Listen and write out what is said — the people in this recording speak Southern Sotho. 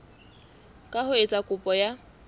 ka ho etsa kopo ya